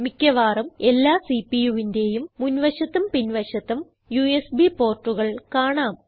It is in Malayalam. മിക്ക്യവാറും എല്ലാ CPUവിന്റേയും മുൻ വശത്തും പിൻ വശത്തും യുഎസ്ബി portകൾ കാണാം